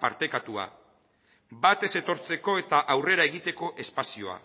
partekatua bat ez etortzeko eta aurrera egiteko espazioa